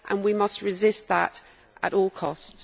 We must resist that at all costs.